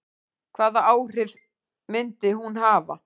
Hvaða áhrif myndi hún hafa?